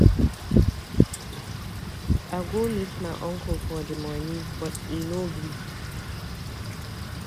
I go meet my uncle for the money but e no gree.